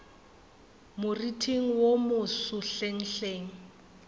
moriting wo wo moso hlenghleng